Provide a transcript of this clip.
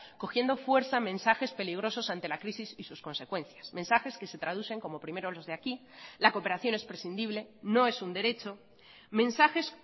cogiendo fuerza mensajes peligrosos ante la crisis y sus consecuencias mensajes que se traducen como primero los de aquí la cooperación es prescindible no es un derecho mensajes